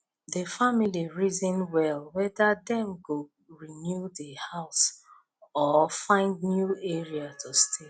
di family reason well whether dem go renew di house or find new area to stay